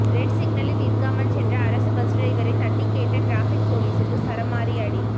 red சிக்னலில் நிற்காமல் சென்ற அரசு பஸ் டிரைவரை தட்டிக் கேட்ட டிராஃபிக் போலீசுக்கு சரமாரி அடி